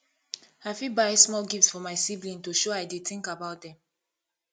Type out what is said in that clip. i fit buy small gift for my sibling to show i dey think about them